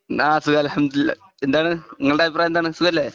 ആ സുഖം അലഹം ദുലില്ല എന്താണ് നിങ്ങളുടെ അഭിപ്രായം എന്താണ് സുഖം അല്ലേ